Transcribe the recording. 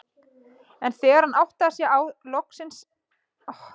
En þegar hann áttaði sig loksins á því varð hann líka ógurlega glaður.